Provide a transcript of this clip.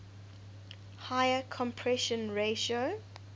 higher compression ratio